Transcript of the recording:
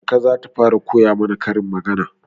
Kaka za ta fara koya mana karin magana.